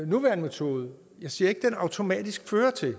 nuværende metode automatisk fører til at